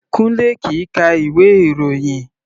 Kunle kìí ka ìwé ìròyìn.